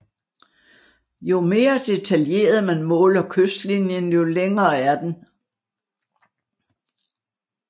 Jo mere detaljeret man måler kystlinjen jo længere er den